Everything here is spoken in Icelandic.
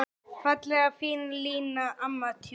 Fallega fína Lína, amma tjútt.